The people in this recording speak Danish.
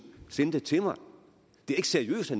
sende det til mig det er ikke seriøst